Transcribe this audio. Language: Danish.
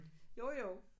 Jo jo